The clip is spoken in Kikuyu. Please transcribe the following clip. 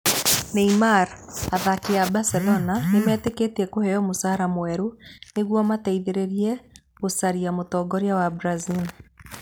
Neymar: Athaki a Barcelona 'nĩ metĩkĩtie kũheo mũcaara mwerũ' nĩguo mateithĩrĩrie gũcaria mũtongoria wa Brazil